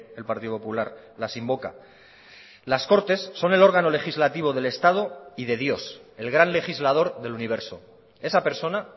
el partido popular las invoca las cortes son el órgano legislativo del estado y de dios el gran legislador del universo esa persona